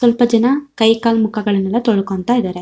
ಸ್ವಲ್ಪ ಜನ ಕೈಕಾಲು ಮುಖಗಳನ್ನೆಲ್ಲಾ ತೊಳಕೊಳ್ಳತ್ತಾ ಇದಾರೆ.